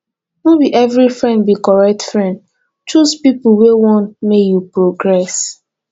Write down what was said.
no be every friend be correct friend choose pipo wey want make you progress